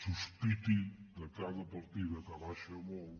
sospitin de cada partida que baixa molt